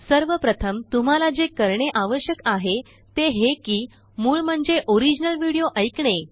सर्वप्रथम तुम्हाला जे करणे आवश्यक आहे ते हे किमूळ म्हणजेओरिजिनल विडिओ एकणे